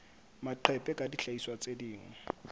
maqephe kapa dihlahiswa tse ding